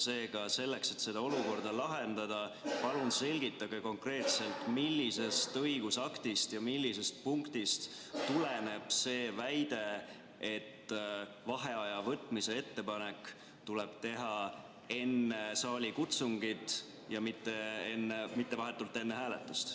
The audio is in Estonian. Seega, selleks et seda olukorda lahendada, palun selgitage konkreetselt, millisest õigusaktist ja millisest punktist tuleneb see väide, et vaheaja võtmise ettepanek tuleb teha enne saalikutsungit, mitte vahetult enne hääletust.